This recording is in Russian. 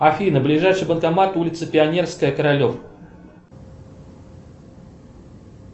афина ближайший банкомат улица пионерская королев